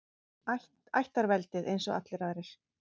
Ættarveldið, eins og allir aðrir.